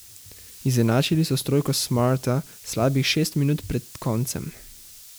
Izenačili so s trojko Smarta slabih šest minut pred koncem.